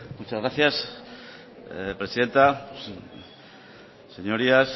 muchas gracias presidenta señorías